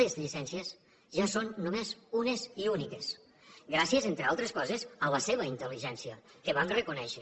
les llicències ja són només unes i úniques gràcies entre altres coses a la seva intelligència que vam reconèixer